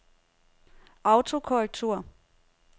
autokorrektur